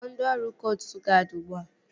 Kpọọ ndị ọrụ koostụ guadi ugbua!